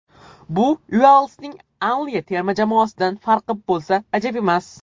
Bu Uelsning Anliya terma jamoasidan farqi bo‘lsa ajab emas.